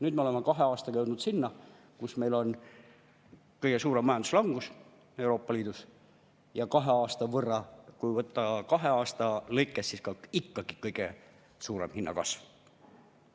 Nüüd me oleme kahe aastaga jõudnud sinna, kus meil on kõige suurem majanduslangus Euroopa Liidus ja kahe aasta peale ikkagi ka kõige suurem hinnakasv.